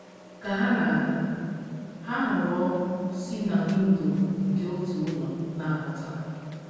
Ka ha na - aga, ha hụrụ ọkụ si na windo nke otu ụlọ na - apụta.